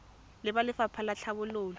le ba lefapha la tlhabololo